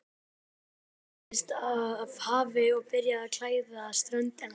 Þoka læddist af hafi og byrjaði að klæða ströndina.